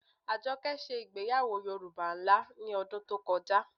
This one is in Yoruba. Àjọkẹ́ ṣẹ̀ igbèyàwọ́ Yorùbá nlá ní odún tó kọjá.